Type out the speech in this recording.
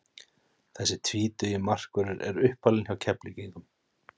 Þessi tvítugi markvörður er uppalinn hjá Keflvíkingum.